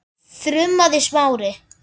þrumaði Smári.